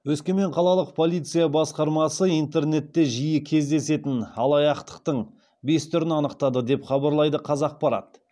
өскемен қалалық полиция басқармасы интернетте жиі кездесетін алаяқтықтың бес түрін анықтады деп хабарлайды қазақпарат